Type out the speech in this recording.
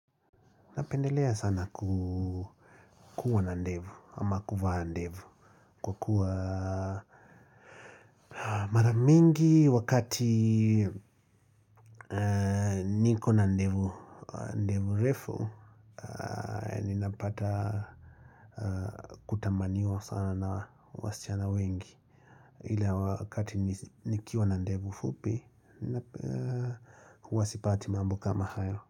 Napendelea sana ku kuwa na ndevu ama kuvaa ndevu kwa kuwa maramingi wakati niko na ndevu refu. Ninapata kutamaniwa sana na wasichana wengi ila wakati nikiwa na ndevu fupi huwa sipati mambo kama hayo.